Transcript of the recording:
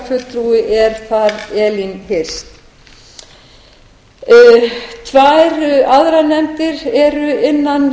fulltrúi er þar elín hirst tvær aðrar nefndir eru innan